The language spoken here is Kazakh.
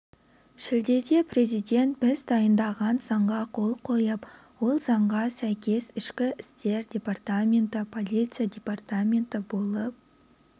шілдеде президент біз дайындаған заңға қол қойып ол заңға сәйкес ішкі істер департаменті полиция департаменті болып